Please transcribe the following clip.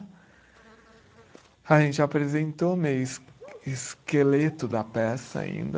A gente apresentou meio esque esqueleto da peça ainda.